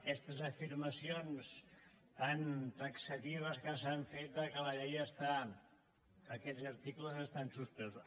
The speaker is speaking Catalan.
aquestes afirmacions tan taxatives que s’han fet que aquests articles estan suspesos